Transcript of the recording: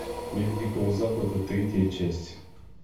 мир дикого запада третья часть